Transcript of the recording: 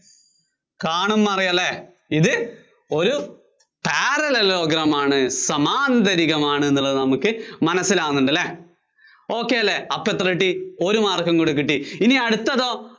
കാണുമ്പോ അറിയും അല്ലേ? ഇത് ഒരു parallelogram ആണ്. സമാന്തരികമാണെന്നുള്ളത് നമുക്ക് മനസ്സിലാകുന്നുണ്ടല്ലേ? ok അല്ലേ? അപ്പോ എത്ര കിട്ടി ഒരു mark ഉം കൂടി കിട്ടി. ഇനി അടുത്തതോ?